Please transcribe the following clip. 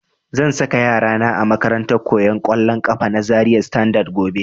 Zan saka yara na a makarantar koyan kollon kafa na Zaria Standard gobe